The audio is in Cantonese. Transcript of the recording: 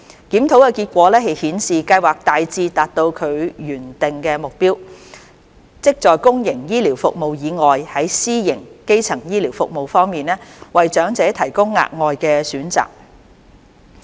檢討的結果顯示，計劃大致達到其原訂的目標，即在公營醫療服務以外，在私營基層醫療服務方面，為長者提供額外的選擇。